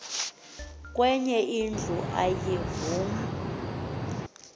kwenye indlu ayavuma